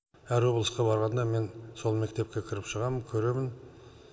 әр облысқа барғанда мен сол мектепке кіріп шығамын көремін